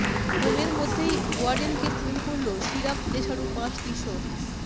হোমের মধ্যেই ওয়ার্ডেনকে খুন করল সিরাপ নেশাড়ু পাঁচ কিশোর